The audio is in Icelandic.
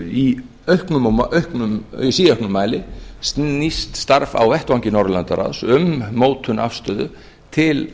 í síauknum mæli snýst starf á vettvangi norðurlandaráðs um mótun afstöðu til